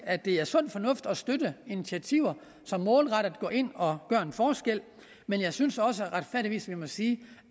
at det er sund fornuft at støtte initiativer som målrettet går ind og gør en forskel men jeg synes også retfærdigvis vi må sige